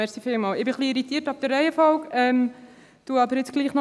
Ich bin etwas irritiert wegen der Reihenfolge, begründe aber jetzt doch noch.